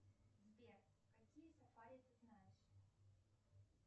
сбер какие сафари ты знаешь